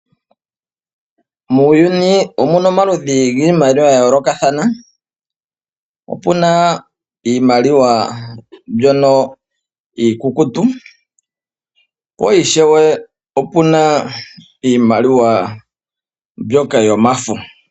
Muuyuni omuna omaludhi giimaliwa ya yoolokathana. Opuna iimaliwa mbyoka iikukutu po ishewe opuna iimaliwa mbyoka yomafo.